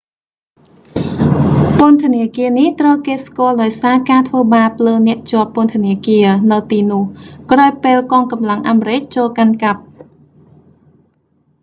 ពន្ធនាគារនេះ ត្រូវគេស្គាល់ដោយសារការធ្វើបាបលើអ្នកជាប់ពន្ធនាគារ នៅទីនោះ ក្រោយពេលកងកម្លាំងអាមេរិកចូលកាន់កាប់